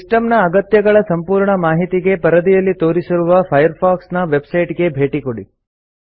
ಸಿಸ್ಟಂನ ಅಗತ್ಯಗಳ ಸಂಪೂರ್ಣ ಮಾಹಿತಿಗೆ ಪರದೆಯಲ್ಲಿ ತೋರಿಸಿರುವ ಫೈರ್ಫಾಕ್ಸ್ ನ ವೆಬ್ಸೈಟ್ಗೆ ಭೇಟಿಕೊಡಿ